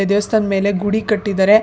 ದೇವಸ್ಥಾನ ಮೇಲೆ ಗುಡಿ ಕಟ್ಟಿದಾರೆ.